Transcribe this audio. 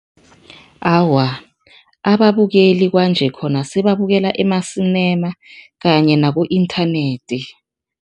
Awa, ababukeli kwanje khona sebabukela emasinema kanye naku-internet.